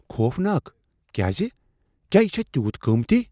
خوفناک؟ کیازِ؟ کیٛاہ یہ چھےٚ تیوٗت قۭمتی؟